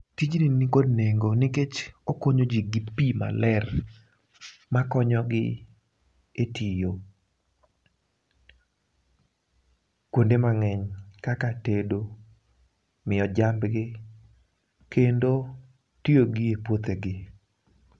Tijni ni kod nengo nikech okonyo ji gi pi maler ma konyo gi e tiyo kuonde mang'eny kaka tedo, miyo jambgi, kendo tiyogi e puothegi.